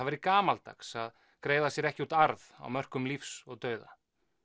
væri gamaldags að greiða sér ekki út arð á mörkum lífs og dauða